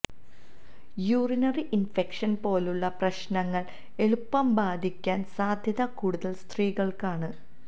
urinary infection പോലുള്ള പ്രശ്നങ്ങള് എളുപ്പം ബാധിയ്ക്കാന് സാധ്യത കൂടുതല് സ്ത്രീകള്ക്കാണ്